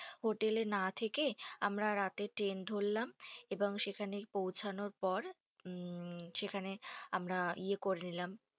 Hotel এ না থেকে আমরা রাতে ট্রেন ধরলাম, এবং সেখানে পৌঁছানোর পর, মমম যেখানে আমরা ইয়ে করে নিলাম।